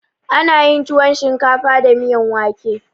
Ana yin tuwon shinkafa da miyan wake.